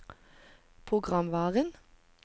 programvaren